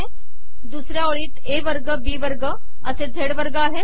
दुसऱया ओळीत ए वगर बी वगर असे झेड वगर पयरत आहे